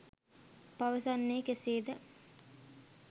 පවසන්නේ කෙසේ ද?